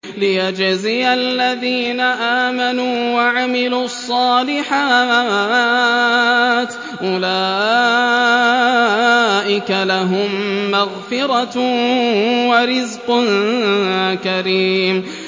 لِّيَجْزِيَ الَّذِينَ آمَنُوا وَعَمِلُوا الصَّالِحَاتِ ۚ أُولَٰئِكَ لَهُم مَّغْفِرَةٌ وَرِزْقٌ كَرِيمٌ